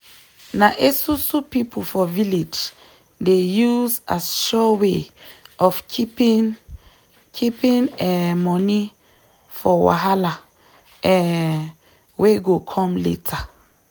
na esusu people for village dey use as sure way of keeping keeping um money for wahala um wey go come later